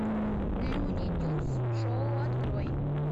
луни тюнз шоу открой